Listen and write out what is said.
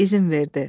İzin verdi.